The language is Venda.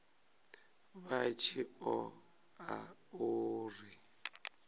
vha tshi ṱo ḓa uri